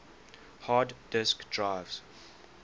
hard disk drives